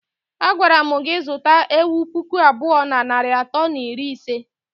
Agwara mụ gị zụta ewụ pụkụ abụọ nari atọ na iri ise!!!!!